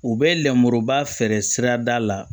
U bɛ lenmuruba feere sirada la